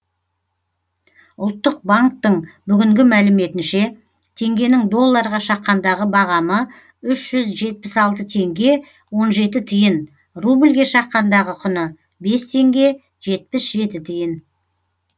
ұлттық банктің бүгінгі мәліметінше теңгенің долларға шаққандағы бағамы үш жүз жетпіс алты теңге он жеті тиын рубльге шаққандағы құны бес теңге жетпіс жеті тиын